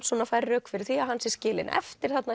svona færir rök fyrir því að hann sé skilinn eftir þarna